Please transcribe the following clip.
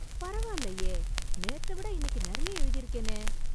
பரவாயில்லையே! நேத்த விட இன்னிக்கு நிறைய எழுதியிருக்கேனே!